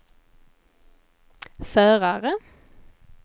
förare